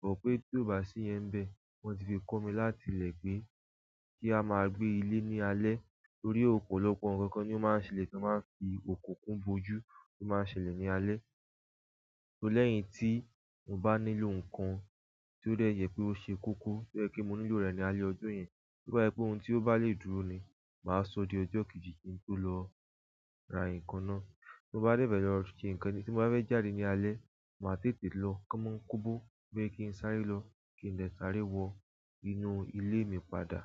Bọ pé tó bá sí iyen n bẹ́ẹ̀, wọ́n ti fi kọ́ mi láti ilẹ̀ pé kí a máa gbé ilé ní alẹ́. To ri ọ̀pọ̀lọpọ̀ ǹkan kan ni ó máa ń ṣẹlẹ̀ kí a máa fi òkùnkùn bojú tó máa ń ṣẹlẹ̀ ní alẹ́. Lẹ́yìn tí mo bá nílò ǹkan tí ó dẹ jẹ pé ó ṣe koko, tí ó jẹ pe mo nílò rẹ̀ ní alẹ́ ọjọ́ yẹn, bó bá jẹ pé ohun tí ó bá lè dúró ni, màá sọ di ọjọ́ kejì kí n tó lọ ra ǹkan náà. Ti mo bá dẹ fẹ lo ṣe ǹkan ni tí mo bá fẹ́ jáde ní alẹ́, màá tètè lọ kaa n mo ń kọbọ bóyá kí n sáré lọ kí n lè sáré wọ inú ilé mi padà.